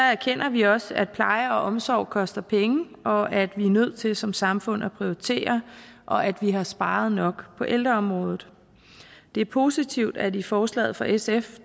erkender vi også at pleje og omsorg koster penge og at vi er nødt til som samfund at prioritere og at vi har sparet nok på ældreområdet det er positivt at man i forslaget fra sf